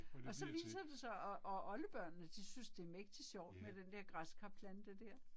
Og så viser det sig, og og oldebørnene de synes det mægtig sjovt med den der græskarplante der